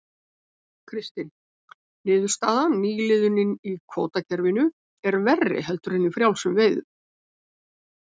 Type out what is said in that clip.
Kristinn: Niðurstaðan, nýliðunin í kvótakerfinu er verri heldur en í frjálsum veiðum?